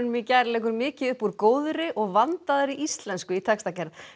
í gær leggur mikið upp úr góðri og vandaðri íslensku í textagerð